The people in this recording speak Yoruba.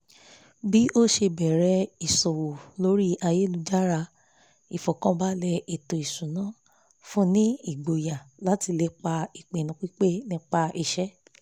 bí ó ṣe bẹ̀rẹ̀ ìṣòwò lórí ayélujára ìfọ̀kànbalẹ̀ ètò ìṣúná fún ni ìgboyà láti lépà ìpinnu pípẹ́ nípa iṣẹ́